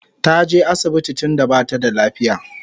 Taje asibiti tunda bata da lafiya